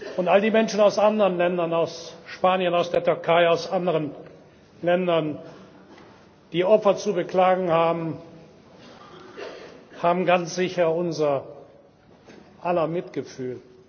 Und all die Menschen aus anderen Ländern aus Spanien, aus der Türkei, aus anderen Ländern die Opfer zu beklagen haben, haben ganz sicher unser aller Mitgefühl.